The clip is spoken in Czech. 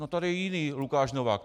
No, tady je jiný Lukáš Novák.